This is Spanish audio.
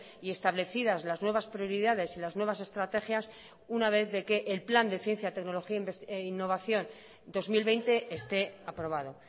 y establecidas las nuevas prioridades y las nuevas estrategias una vez de que el plan de ciencia tecnología e innovación dos mil veinte esté aprobado